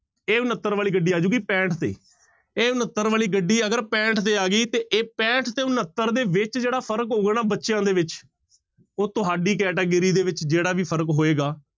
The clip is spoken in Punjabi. ਇਹ ਉਣੱਤਰ ਵਾਲੀ ਗੱਡੀ ਆ ਜਾਊਗੀ ਪੈਂਹਠ ਤੇ, ਇਹ ਉਣੱਤਰ ਵਾਲੀ ਗੱਡੀ ਅਗਰ ਪੈਂਹਠ ਤੇ ਆ ਗਈ ਤੇ ਇਹ ਪੈਂਹਠ ਤੇ ਉਣੱਤਰ ਦੇ ਵਿੱਚ ਜਿਹੜਾ ਫ਼ਰਕ ਹੋਊਗਾ ਨਾ ਬੱਚਿਆਂ ਦੇ ਵਿੱਚ, ਉਹ ਤੁਹਾਡੀ category ਦੇ ਵਿੱਚ ਜਿਹੜਾ ਵੀ ਫ਼ਰਕ ਹੋਏਗਾ।